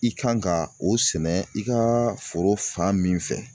I kan ka o sɛnɛ i ka foro fan min fɛ